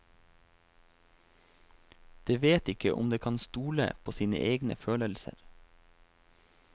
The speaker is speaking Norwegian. Det vet ikke om det kan stole på sine egne følelser.